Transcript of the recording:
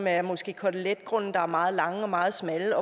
er måske koteletgrunde der er meget lange og meget smalle